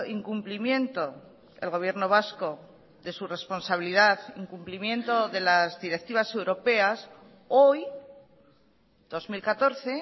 incumplimiento el gobierno vasco de su responsabilidad incumplimiento de las directivas europeas hoy dos mil catorce